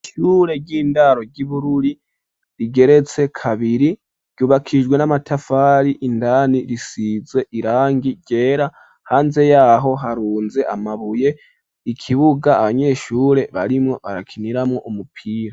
Ishure ry'indaro ry'i Bururi rigeretse kabiri ryubakishijwe n'amatafari, indani risize irangi ryera, hanze yaho harunze amabuye, ikibuga abanyeshure barimwo barakiniramwo umupira.